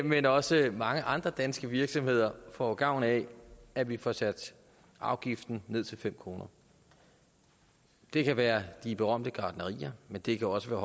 men også mange andre danske virksomheder får gavn af at vi får sat afgiften ned til fem kroner det kan være de berømte gartnerier men det kan også